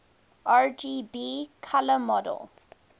rgb color model